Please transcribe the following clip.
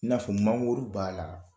I na fɔ mangoro b'a la.